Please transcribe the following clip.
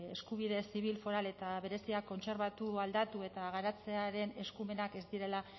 eskubide zibil foral eta berezia kontserbatu aldatu eta garatzearen eskumenak ez direla